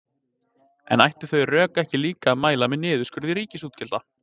En ættu þau rök þá ekki líka að mæla með niðurskurði ríkisútgjalda?